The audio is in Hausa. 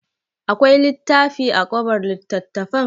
Akwai littafi a kobar littattafan?